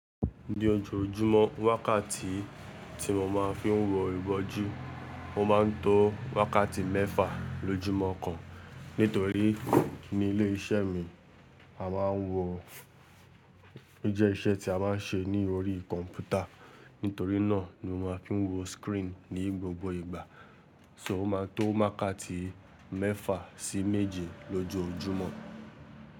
Ní ojoojúmọ́, wákàtí tí mo ma ń fí wọ ìwọ́ju, o ma ń tó wákàtí mẹ́fà lójúmọ́ kan. Nítorí ní ilé iṣẹ́ mi, a máa ń wọ, ó jẹ́ iṣẹ́ tí a má ń ṣe ni orí kọ̀mpútà. Nítorí náà ni mo ma ń fí wọ screen ní gbogbo ìgbà. So, o ma ń tó wákàtí mẹ́fà sí méje lójojúmọ́.